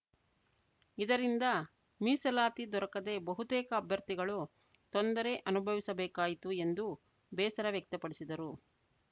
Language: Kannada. ಇದರಿಂದ ಮೀಸಲಾತಿ ದೊರಕದೆ ಬಹುತೇಕ ಅಭ್ಯರ್ಥಿಗಳು ತೊಂದರೆ ಅನುಭವಿಸಬೇಕಾಯಿತು ಎಂದು ಬೇಸರ ವ್ಯಕ್ತಪಡಿಸಿದರು